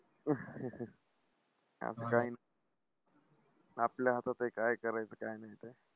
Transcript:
असं काय नाही. आपल्या हातात आहे काय करायचं काय नाही ते.